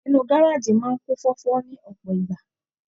Inú gárájí máa n kún fọfọ ni ọpọ ìgbà.